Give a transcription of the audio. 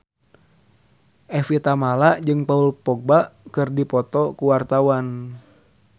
Evie Tamala jeung Paul Dogba keur dipoto ku wartawan